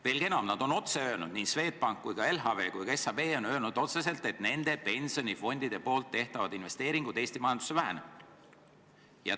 Veelgi enam, nad on öelnud otse – nii Swedbank, LHV kui ka SEB on öelnud otse –, et nende pensionifondide tehtavad investeeringud Eesti majandusse vähenevad.